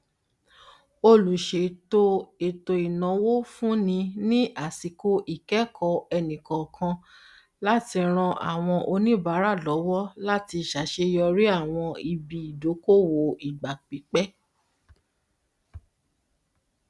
olùṣètò etoináwó fúnni ní àsìkò ikẹkọọ ẹnikọọkan láti ràn àwọn oníbàárà lọwọ láti ṣàṣeyọrí àwọn ibi ìdókòwò ìgbàpípẹ